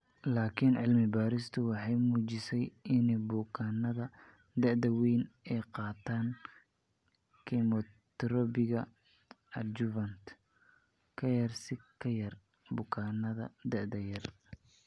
Laakiin cilmi-baaristu waxay muujisay in bukaannada da'da weyni ay qaataan kimoterabiga adjuvant ka yar si ka yar bukaannada da'da yar.